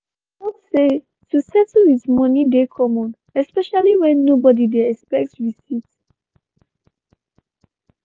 dem tok say to settle with moni dey common especially when nobody dey expect receipt.